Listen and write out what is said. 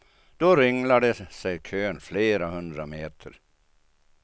Då ringlade sig kön flera hundra meter.